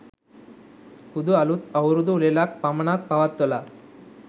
හුදු අලුත් අවුරුදු උළෙලක් පමණක් පවත්වලා